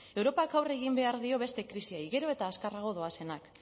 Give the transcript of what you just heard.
europak aurre egin behar die beste krisiei gero eta azkarrago doazenak